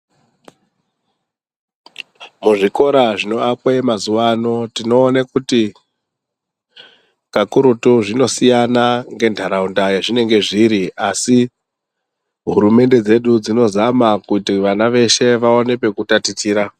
Muzvikora zvinoakwe mazuvano tinoone kuti kakurutu zvinosiyana ngentaraunda yazvinenge zviri asi hurumende dzedu dzinozama kuti vana vedu vawane pekutatichira.